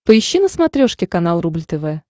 поищи на смотрешке канал рубль тв